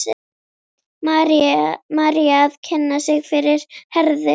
María að kynna sig fyrir Herði.